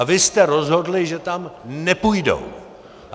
A vy jste rozhodli, že tam nepůjdou.